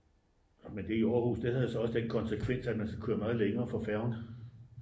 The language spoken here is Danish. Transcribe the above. men det i aarhus det havde så også den konsekvens at man skal køre meget længere for færgen